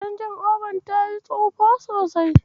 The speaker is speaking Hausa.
Canji'obar ta yiwa gidan tsufa sosai.